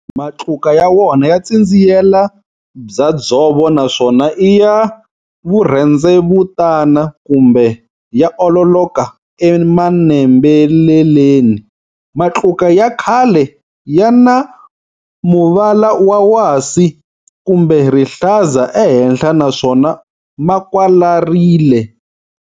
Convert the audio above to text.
Matluka ya wona ya tsindziyela bya dzovo naswona i ya vurhendzevutana kumbe ya ololoka e manembeleleni. Matluka ya khale ya na muvala wa wasi kumbe rihlaza ehenhla naswona ma kwalarile.